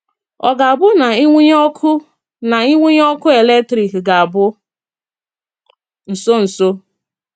Ọ̀ gā-abụ na ìnwụ̀nyè ọkụ́ na ìnwụ̀nyè ọkụ́ eletrik gā-abụ nsọ́nsọ?